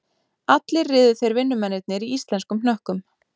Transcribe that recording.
Allir riðu þeir vinnumennirnir í íslenskum hnökkum